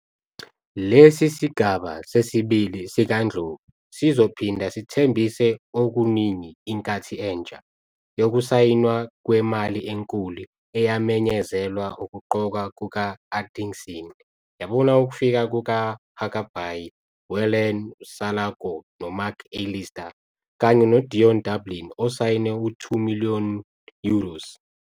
Lesi sigaba sesibili sikaNdlovu sizophinda sithembise okuningi - 'inkathi entsha' yokusayinwa kwemali enkulu eyamenyezelwa ukuqokwa kuka-Atkinson yabona ukufika kukaHuckerby, Whelan, Salako noMcAllister kanye noDion Dublin osayine u-2 million euros.